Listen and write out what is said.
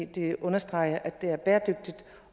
det understreges at det er bæredygtigt